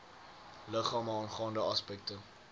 liggame aangaande aspekte